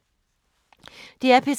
DR P3